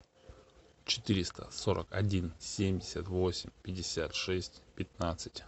четыреста сорок один семьдесят восемь пятьдесят шесть пятнадцать